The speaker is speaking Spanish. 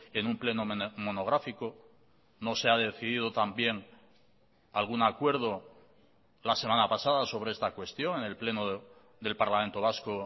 en un pleno monográfico no se ha decidido también algún acuerdo la semana pasada sobre esta cuestión en el pleno del parlamento vasco